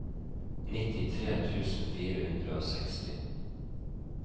nittitre tusen fire hundre og seksti